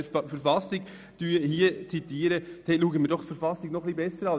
Schauen wir doch die Verfassung noch etwas genauer an.